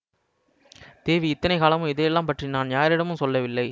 தேவி இத்தனை காலமும் இதையெல்லாம் பற்றி நான் யாரிடமும் சொல்லவில்லை